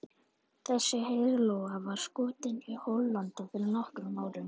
Þessi heiðlóa var skotin í Hollandi fyrir nokkrum árum.